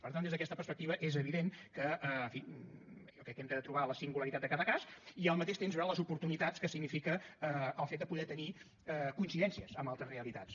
per tant des d’aquesta perspectiva és evident que en fi jo crec que hem de trobar la singularitat de cada cas i al mateix temps veure les oportunitats que significa el fet de poder tenir coincidències amb altres realitats